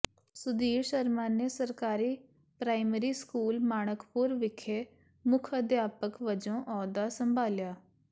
ਸੁਧੀਰ ਸ਼ਰਮਾ ਨੇ ਸਰਕਾਰੀ primary school Manakpur ਵਿਖੇ ਮੁੱਖ ਅਧਿਆਪਕ ਵਜੋਂ ਅਹੁਦਾ ਸੰਭਾਲਿਆ